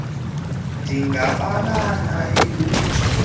lamapolisa ndingabala litshone